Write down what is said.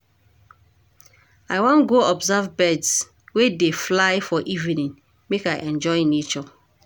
I wan go observe birds wey dey fly for evening make I enjoy nature.